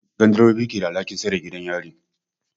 Gandirobobi ke da alhakin tsare gidan yari.